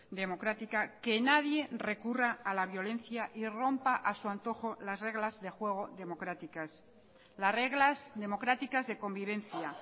democrática que nadie recurra a la violencia y rompa a su antojo las reglas de juego democráticas las reglas democráticas de convivencia